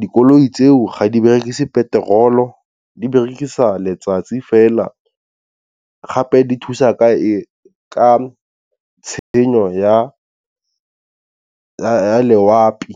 dikoloi tseo ga di berekise petrol-o di berekisa letsatsi fela gape di thusa ka ka tshenyo ya loapi.